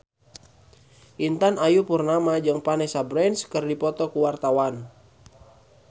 Intan Ayu Purnama jeung Vanessa Branch keur dipoto ku wartawan